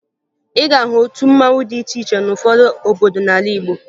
Ị ga-ahụ otu mmanwụ dị iche iche n'ụfọdụ obodo n'ala Igbo